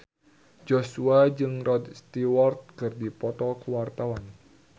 Joshua jeung Rod Stewart keur dipoto ku wartawan